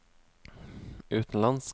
utenlandsk